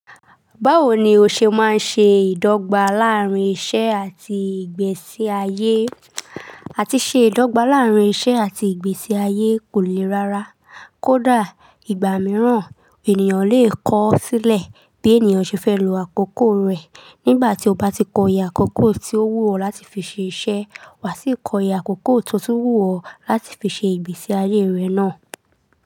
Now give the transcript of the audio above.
Báwo ni o ṣe máa ń ṣe ìdọ́gba láàrín iṣẹ́ àti ìgbésí ayé? Àti ṣe ìdọ́gba láàrín iṣẹ́ àti ìgbésí ayé kò lè rára, kódà ìgbà mìíràn ènìyàn lè kọ ó sílẹ̀ bí ènìyàn ṣe fẹ́ lo àkókò rẹ̀. Nígbà tí o bá ti kọ iye àkókò tí ó wù ọ́ láti fi ṣe iṣẹ́, wà sí kọ iye àkókò to tun wù ọ́ láti fi ṣe ìgbésí ayé rẹ náà.